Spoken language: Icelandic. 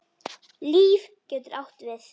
LÍF getur átt við